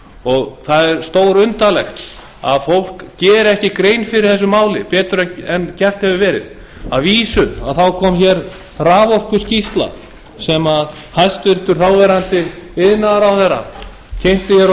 og það er stórundarlegt að fólk geri ekki grein fyrir þessu máli betur en gert hefur verið að vísu kom raforkuskýrsla sem hæstvirtur þáverandi iðnaðarráðherra kynnti á